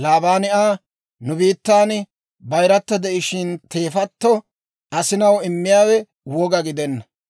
Laabaani Aa, «Nu biittan bayirata de'ishshin, teefatto asinaw immiyaawe woga gidenna.